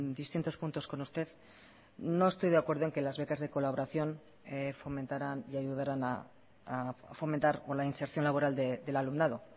distintos puntos con usted no estoy de acuerdo en que las becas de colaboración fomentaran y ayudaran a fomentar o la inserción laboral del alumnado